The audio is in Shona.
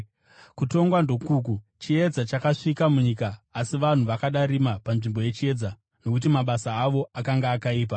Kutongwa ndokuku: Chiedza chakasvika munyika, asi vanhu vakada rima panzvimbo yechiedza nokuti mabasa avo akanga akaipa.